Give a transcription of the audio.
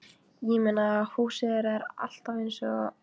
Ég meina, húsið þeirra er alltaf eins og.